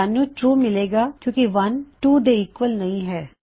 ਸਾਨੂੰ ਟਰੂ ਮਿਲੇਗਾ ਕਿਉਂ ਕਿ 1 2 ਦੇ ਈਕਵਲ ਨਹੀ ਹੈ